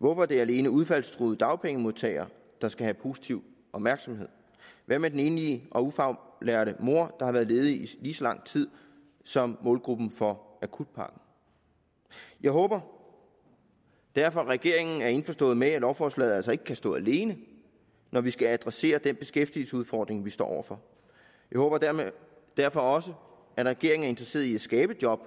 hvorfor er det alene udfaldstruede dagpengemodtagere der skal have positiv opmærksomhed hvad med den enlige og ufaglærte mor der har været ledig i lige så lang tid som målgruppen for akutpakken jeg håber derfor at regeringen er indforstået med at lovforslaget altså ikke kan stå alene når vi skal adressere den beskæftigelsesudfordring vi står over for jeg håber derfor også at regeringen er interesseret i at skabe job